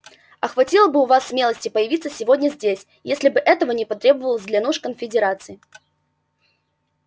а хватило бы у вас смелости появиться сегодня здесь если бы этого не потребовалось для нужд конфедерации